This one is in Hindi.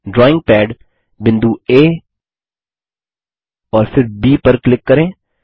ड्राइंग पद बिंदु आ और फिर ब पर क्लिक करें